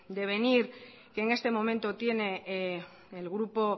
devenir que en este momento tiene el grupo